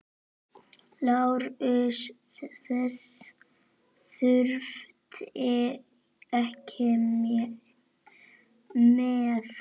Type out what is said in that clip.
LÁRUS: Þess þurfti ekki með.